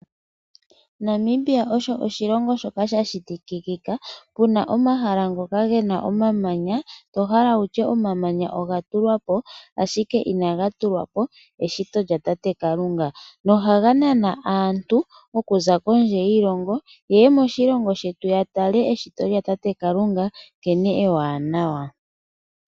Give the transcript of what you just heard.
Namibia osho oshilongo shoka sha shitikika puna omahala ngoka gena omamanya tohala wutya omamanya oga tulwapo ashike, inaga tulwapo eshito lyatate Kalunga nohaga nana aantu oku za kondje yiilongo ye ye moshilongo shetu ya tale eshito lyatate Kalunga nkene ewanawa.